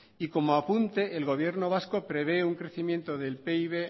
y como apunte el gobierno vasco prevé un crecimiento del pib